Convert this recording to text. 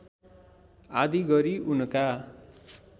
आदि गरी उनका